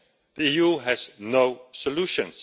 The EU has no solutions.